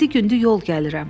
Yeddi gündür yol gəlirəm.